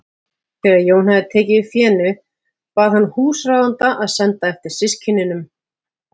Þegar Jón hafði tekið við fénu bað hann húsráðanda að senda eftir systkinunum.